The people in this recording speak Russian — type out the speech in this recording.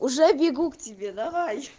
уже бегу к тебе давай